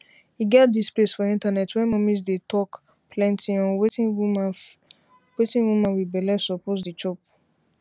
e get dis place for internet where mommies dem dey talk plenty on wetin woman wit belle suppose dey chop